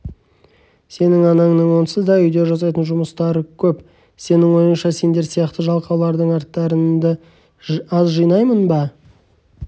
сенің анаңның онсыз да үйде жасайтын жұмыстары көп сенің ойыңша сендер сияқты жалқаулардың арттарыңды аз жинаймын ба